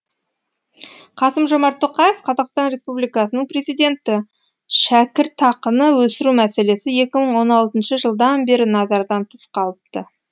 қасым жомарт тоқаев қазақстан республикасының президенті шәкіртақыны өсіру мәселесі екі мың они алтыншы жылдан бері назардан тыс қалыпты